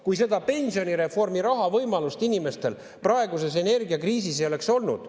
Kui seda pensionireformi raha võimalust inimestel praeguses energiakriisis ei oleks olnud ...